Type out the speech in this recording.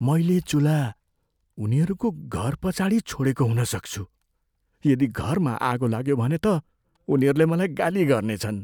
मैले चुल्हा उनीहरूको घरपछाडि छोडेको हुन सक्छु। यदि घरमा आगो लाग्यो भने त उनीहरूले मलाई गाली गर्नेछन्।